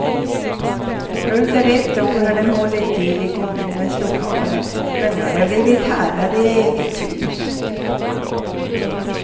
Under ett år har de hållit till i kommunens lokaler, men nu har de blivit herrar i eget hus.